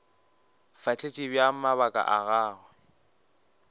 fahletše bjang mabaka a gagwe